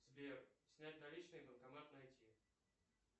сбер снять наличные банкомат найти